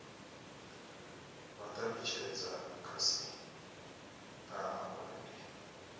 vha talutshedza khasitama uri ndi